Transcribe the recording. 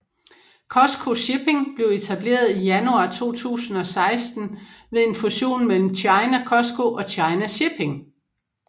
COSCO Shipping blev etableret i januar 2016 ved en fusion mellem China COSCO og China Shipping